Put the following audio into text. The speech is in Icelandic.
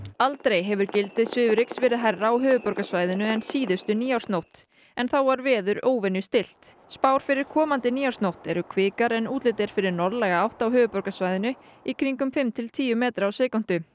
aldrei hefur gildi svifryks verið hærra á höfuðborgarsvæðinu en síðustu nýársnótt en þá var veður óvenju stillt spár fyrir komandi nýársnótt eru kvikar en útlit fyrir norðlæga átt á höfuðborgarsvæðinu í kringum fimm til tíu metra á sekúndu